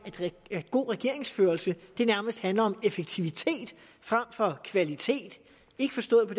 at god regeringsførelse nærmest handler om effektivitet frem for kvalitet ikke forstået på